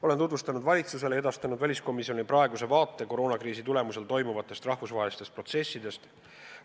Olen tutvustanud valitsusele ja edastanud väliskomisjonile praeguse vaate koroonakriisi tagajärjel toimuvatest rahvusvahelisest protsessidest ning sellega seotud riskidest.